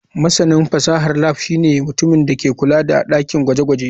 Masanin fasahar lab shine mutumin da ke kula da dakin gwaje-gwaje.